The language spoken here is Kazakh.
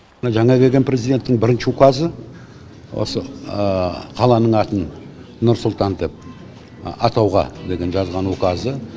жаңа келген президенттің бірінші указы осы қаланың атын нұр сұлтан деп атауға деген жазған указы